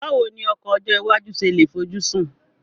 Báwo ni ọkọ̀ ọjọ́ iwájú ṣe lè fojúsùn